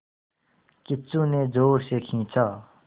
किच्चू ने ज़ोर से खींचा